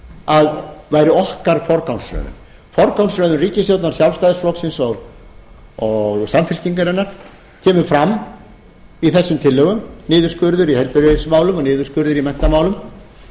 að væri okkar forgangsröðun forgangsröðun ríkisstjórnar sjálfsætðísflokksins og samfylkingarinnar kemur fram í þessum forgangsröðun ríkisstjórnar sjálfstæðisflokksins og samfylkingarinnar kemur fram í þessum tillögum niðurskurður í heilbrigðismálum og niðurskurður í menntamálum